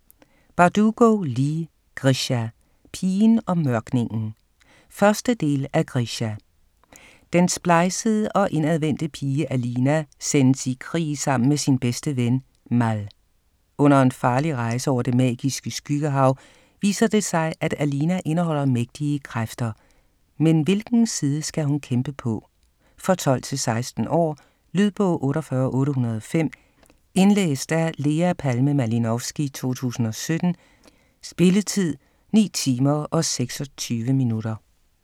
Bardugo, Leigh: Grisha - pigen og mørkningen 1. del af Grisha. Den splejsede og indadvendte pige Alina sendes i krig sammen med sin bedste ven, Mal. Under en farlig rejse over det magiske Skyggehav, viser det sig at Alina indeholder mægtige kræfter. Men hvilken side skal hun kæmpe på? For 12-16 år. Lydbog 48805 Indlæst af Lea Palme Malinovsky, 2017. Spilletid: 9 timer, 26 minutter.